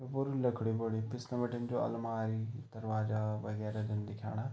यू पुरू लकड़ी बनयु पिछने बटी जु अलमारी दरवाजा वगेरह जन दिखेंणा।